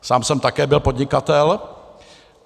Sám jsem také byl podnikatel.